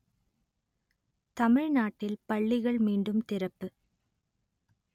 தமிழ்நாட்டில் பள்ளிகள் மீண்டும் திறப்பு